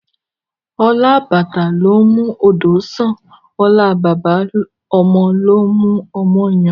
Ọlá àbàtà ló ń mú odò sàn, ọlá baba ọmọ ló ń mú ọmọ yan